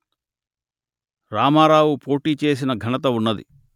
రామారావు పోటీ చేసిన ఘనత ఉన్నది